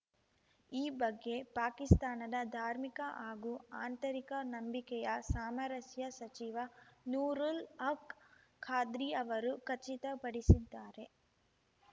ಈ ಬಗ್ಗೆ ಪಾಕಿಸ್ತಾನದ ಧಾರ್ಮಿಕ ಹಾಗೂ ಆಂತರಿಕ ನಂಬಿಕೆಯ ಸಾಮರಸ್ಯ ಸಚಿವ ನೂರುಲ್‌ ಹಕ್‌ ಖಾದ್ರಿ ಅವರು ಖಚಿತಪಡಿಸಿದ್ದಾರೆ